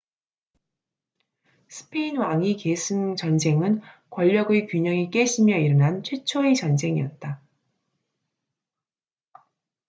스페인 왕위 계승 전쟁은 권력의 균형이 깨지며 일어난 최초의 전쟁이었다